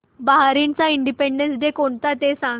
बहारीनचा independence day कोणता ते सांगा